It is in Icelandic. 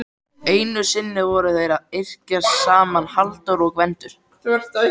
Einu sinni voru þeir að yrkja saman Halldór og Gvendur.